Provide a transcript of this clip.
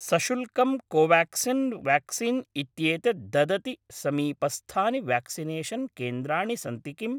सशुल्कं Covaxin vaccine इत्येतत् ददति समीपस्थानि व्याक्सिनेषन् केन्द्राणि सन्ति किम्?